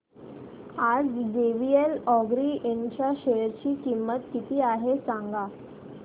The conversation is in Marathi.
आज जेवीएल अॅग्रो इंड च्या शेअर ची किंमत किती आहे सांगा